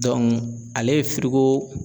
ale ye firigo